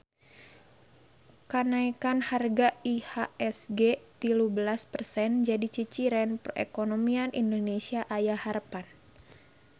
Kanaekan harga IHSG tilu belas persen jadi ciciren perekonomian Indonesia aya harepan